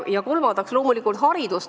Ja kolmas tegur loomulikult on haridus.